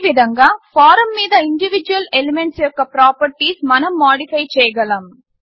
ఈ విధంగా ఫారమ్ మీద ఇండివిడ్యువల్ ఎలిమెంట్స్ యొక్క ప్రాపర్టీస్ మనం మాడిఫై చేయగలము